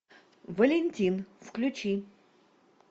валентин включи